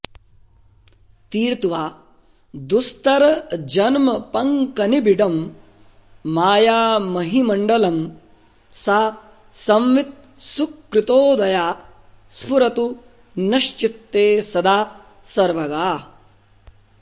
तीर्त्वा दुस्तरजन्मपङ्कनिबिडं मायामहीमण्डलं सा संवित् सुकृतोदया स्फुरतु नश्चित्ते सदा सर्वगा